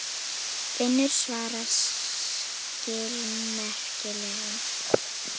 Finnur svaraði skilmerkilega.